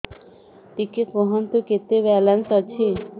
ଟିକେ କୁହନ୍ତୁ କେତେ ବାଲାନ୍ସ ଅଛି